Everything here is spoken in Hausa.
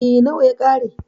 E, nawa ya ƙare.